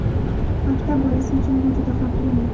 Maktab bolasi uchun bu juda xavfli yo‘l.